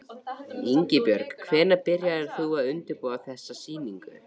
Ingibjörg, hvenær byrjaðir þú að undirbúa þessa sýningu?